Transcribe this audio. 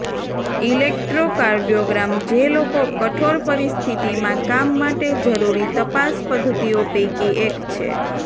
electrocardiogram જે લોકો કઠોર પરિસ્થિતિમાં કામ માટે જરૂરી તપાસ પદ્ધતિઓ પૈકી એક છે